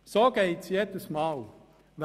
So läuft es jedes Mal ab.